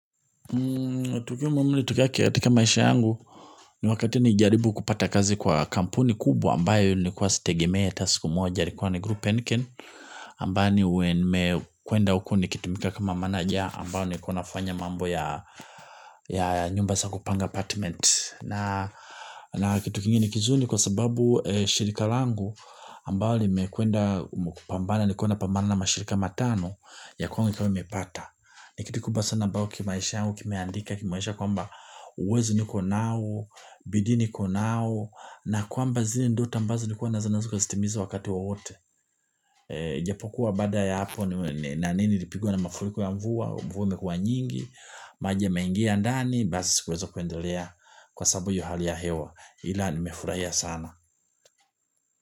Tukio muhimu lililotokea katika maisha yangu ni wakati nilijaribu kupata kazi kwa kampuni kubwa ambayo nilikuwa sitegemei hata siku moja. Ilikua ni kwa ni group and ken ambayo nimekwenda huko nikitumika kama meneja ambayo nilikua kuna fanya mambo ya nyumba za kupanga apartment. Na kitu kingine kizuri kwa sababu shirika langu ambayo limekuenda pambana nilikuwa na pambana na mashirika matano ya kwanza nilikuwa mepata. Ni kitu kikubwa sana ambao kimaisha yangu kimeandika kimeonyesha kwamba uwezo niko nao, bidii niko nao, na kwamba zile ndoto ambazo nilikuwa nazo nitazitimiza wakati wowote. Japokuwa baada ya hapo nani nilipigwa na mafuriko ya mvua, mvua imekuwa nyingi, maji yameingia ndani, basi sikuweza kuendelea kwa sababu hiyo hali ya hewa, ila nimefurahia sana.